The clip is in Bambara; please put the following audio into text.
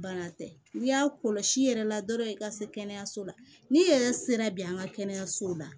Bana tɛ n'i y'a kɔlɔsi yɛrɛ la dɔrɔn i ka se kɛnɛyaso la ni i yɛrɛ sera bi an ka kɛnɛyasow la